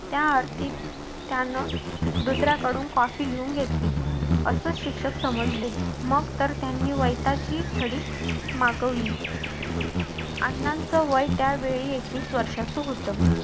त्या अर्थी त्यानं दुसर्याकडून copy लिहून घेतली असं शिक्षक समजले मग तर त्यांनी वेताची छडी मागवली अण्णांचं वय त्यावेळी एकवीस वर्षाचं होत.